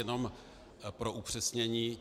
Jenom pro upřesnění.